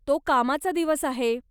तो कामाचा दिवस आहे.